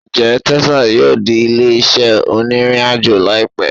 Njẹ Texas yoo di ile-iṣẹ oniriajo laipẹ?